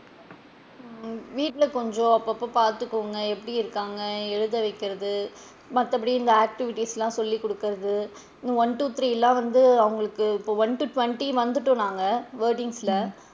ஆஹ் வீட்ல கொஞ்சம் அப்பொ அப்போ பாத்துக்கோங்க எப்படி இருக்காங்க எழுத வைக்கிறது மத்தபடி இந்த activities லா சொல்லி குடுக்குறது one two three லா வந்து அவுங்களுக்கு இப்போ one to twenty வந்துட்டோம் நாங்க wordings ல,